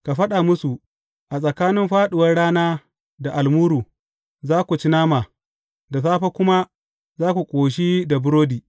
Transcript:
Ka faɗa musu, A tsakanin fāɗuwar rana da almuru, za ku ci nama, da safe kuma za ku ƙoshi da burodi.